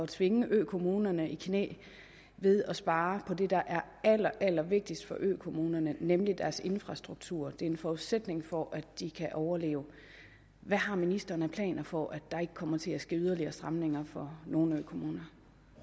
tvinger økommunerne i knæ ved at spare på det der er allerallervigtigst for økommunerne nemlig deres infrastruktur det er en forudsætning for at de kan overleve hvad har ministeren af planer for at der ikke kommer til at ske yderligere stramninger for nogle økommuner